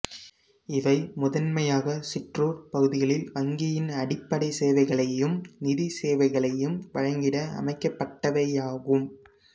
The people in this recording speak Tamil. இவை முதன்மையாக சிற்றூர் பகுதிகளில் வங்கியின் அடிப்படை சேவைகளையும் நிதிச் சேவைகளையும் வழங்கிட அமைக்கப்பட்டவையாகும்